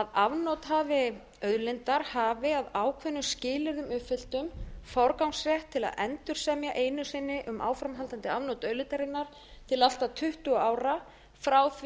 að afnotahafi auðlindar hafi að ákveðnum skilyrðum uppfylltum forgangsrétt til að endursemja einu sinni um áframhaldandi afnot auðlindarinnar til allt að tuttugu ára frá því að hinn